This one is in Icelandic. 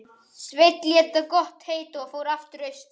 Sveinn lét það gott heita og fór aftur austur.